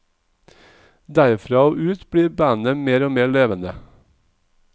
Derfra og ut blir bandet mer og mer levende.